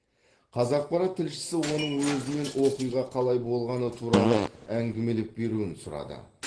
қазақпарат тілшісі оның өзінен оқиға қалай болғаны туралы әңгімелеп беруін сұрады